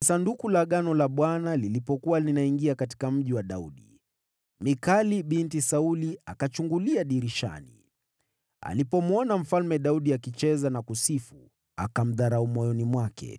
Sanduku la Agano la Bwana lilipokuwa linaingia katika Mji wa Daudi, Mikali binti Sauli akachungulia dirishani. Naye alipomwona Mfalme Daudi akicheza na kusherehekea, akamdharau moyoni mwake.